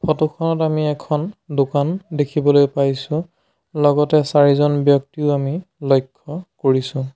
Photo খনত আমি এখন দোকান দেখিবলৈ পাইছোঁ লগতে চাৰিজন ব্যক্তিও আমি লক্ষ্য কৰিছোঁ।